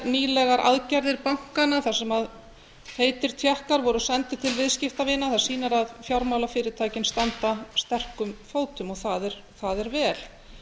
nýlegar aðgerðir bankanna þar sem feitir tékkar voru sendir til viðskiptavina það sýnir að fjármálafyrirtækin standa sterkum fótum það er vel